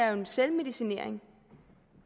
en selvmedicinering